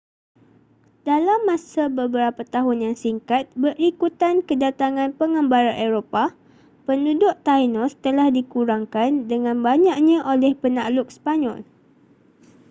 dalam masa beberapa tahun yang singkat berikutan kedatangan pengembara eropah penduduk tainos telah dikurangkan dengan banyaknya oleh penakluk sepanyol